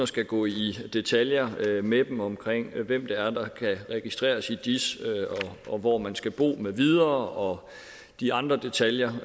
skal gå i detaljer med dem omkring hvem det er der kan registreres i dis hvor man skal bo med videre og de andre detaljer